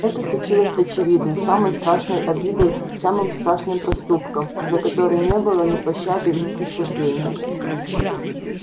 это случилось очевидно самой страшной обидой самым страшным проступком за который не было ни пощады ни снисхождения